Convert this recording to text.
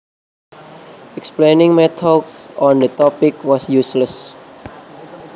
Explaining my thoughts on the topic was useless